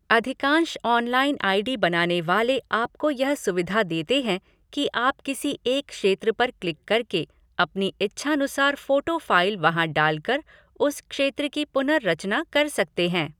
अधिकांश online I D बनाने वाले आपको यह सुविधा देते हैं कि आप किसी एक क्षेत्र पर क्लिक कर के अपनी इच्छानुसार फ़ोटो फ़ाइल वहाँ डाल कर, उस क्षेत्र की पुनर्रचना कर सकते हैं।